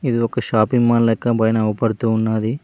ఇది ఒక shopping mall లెక్క పైన అవపడుతూ ఉన్నది.